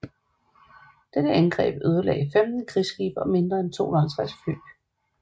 Dette angreb ødelagde 15 krigsskibe og mere end 250 fly